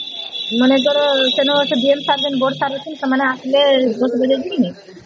ମାନେ ଯାହାର ଯୋଉ sir ଦରକାର ହାଉସନ ସେମାନେ ଆସିଲେ ଏକଵଲେ ଏକି